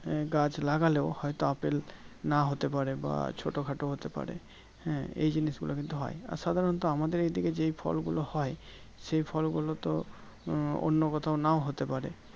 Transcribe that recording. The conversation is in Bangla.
গাছ লাগলেও হয়তো আপেল না হতে পারে বা ছোটো খাটো হতে পারে হ্যাঁ এই জিনিস গুলো কিন্তু হয় আর সাধারণত আমাদের এই দিকে যেই ফলগুলো হয় সেই ফল গুলোতো আহ অন্যকোথাও নাও হতে পারে